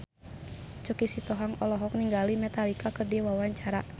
Choky Sitohang olohok ningali Metallica keur diwawancara